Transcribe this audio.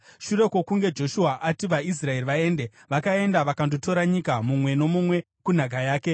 Shure kwokunge Joshua ati vaIsraeri vaende, vakaenda vakandotora nyika, mumwe nomumwe kunhaka yake.